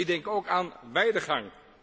Ik denk ook aan weidegang.